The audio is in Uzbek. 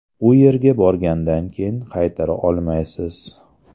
U yerga borgandan keyin qaytara olmaysiz.